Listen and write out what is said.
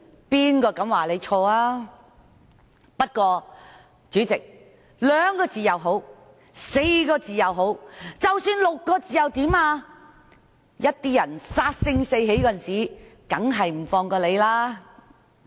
不過，主席，兩個字、4個字，甚或6個字又怎樣？有些人殺得性起的時候，便不會放過你。